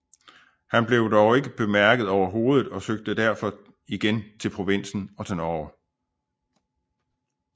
Han blev dog ikke bemærket overhovedet og søgte derfor igen til provinsen og til Norge